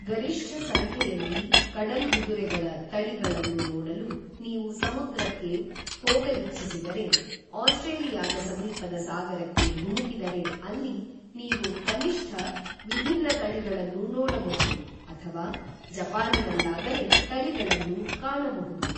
ಗರಿಷ್ಠ ಸಂಖ್ಯೆಯಲ್ಲಿ ಕಡಲ್ಗುದುರೆಗಳ ತಳಿಗಳನ್ನು ನೋಡಲು ನೀವು ಸಮುದ್ರಕ್ಕೆ ಹೋಗಲಿಚ್ಛಿಸಿದರೆ ಆಸ್ಟ್ರೇಲಿಯಾದ ಸಮೀಪದ ಸಾಗರಕ್ಕೆ ಧುಮುಕಿದರೆ ಅಲ್ಲಿ ನೀವು ಕನಿಷ್ಠ ವಿಭಿನ್ನ ತಳಿಗಳನ್ನು ನೋಡಬಹುದು, ಅಥವಾ ಜಪಾನಿನಲ್ಲಾದರೆ ತಳಿಗಳನ್ನು ಕಾಣಬಹುದು